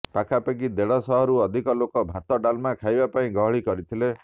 ପାଖାପାଖି ଦେଢ଼ ଶହରୁ ଅଧିକ ଲୋକ ଭାତ ଡାଲମା ଖାଇବା ପାଇଁ ଗହଳି କରିଥିଲେ